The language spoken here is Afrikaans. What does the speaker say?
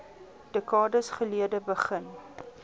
dekades gelede begin